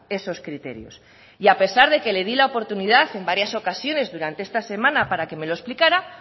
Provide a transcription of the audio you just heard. esos criterios y a pesar de que le di la oportunidad en varias ocasiones durante esta semana para que me lo explicara